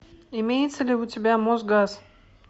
имеется ли у тебя мосгаз